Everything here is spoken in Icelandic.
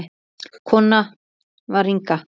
Konan var Inga.